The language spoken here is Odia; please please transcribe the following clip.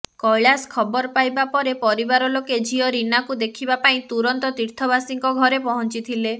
କୈଳାଶ ଖବର ପାଇବା ପରେ ପରିବାର ଲୋକେ ଝିଅ ରୀନାକୁ ଦେଖିବା ପାଇଁ ତୁରନ୍ତ ତିର୍ଥବାସୀଙ୍କ ଘରେ ପହଞ୍ଚିଥିଲେ